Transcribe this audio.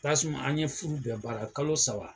Tasumaa an ye furu bɛɛ baara kalo saba !